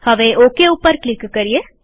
હવે ઓકે પર ક્લિક કરીએ